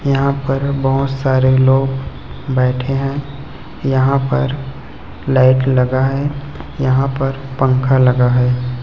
यहां पर बहुत सारे लोग बैठे हैं यहां पर लाईट लगा है यहां पर पंखा लगा है।